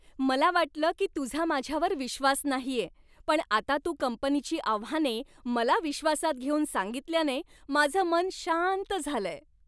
मला वाटलं की तुझा माझ्यावर विश्वास नाहीये, पण आता तू कंपनीची आव्हाने मला विश्वासात घेऊन सांगितल्याने माझं मन शांत झालंय.